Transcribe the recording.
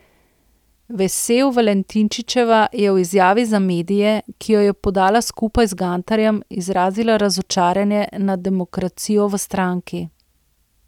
Vesel Valentinčičeva je v izjavi za medije, ki jo je podala skupaj z Gantarjem, izrazila razočaranje nad demokracijo v stranki.